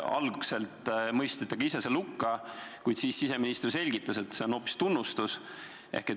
Algul mõistsite ka teie selle hukka, kuid siis siseminister selgitas, et see on hoopis tunnustus.